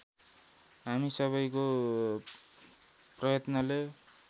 हामी सबैको प्रयत्नले